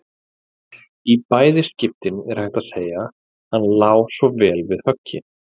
Í bæði skiptin er hægt að segja: Hann lá svo vel við höggi.